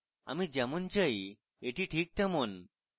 আমি যেমন চাই that ঠিক তেমন